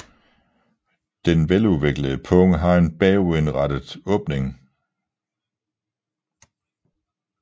Den veludviklede pung har en bagudrettet åbning